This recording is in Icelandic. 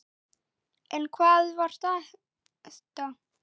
En hvað var þetta?